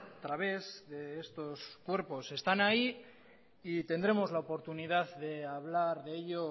a través de estos cuerpos están ahí y tendremos la oportunidad de hablar de ello